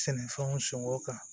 Sɛnɛfɛnw sɔngɔ kan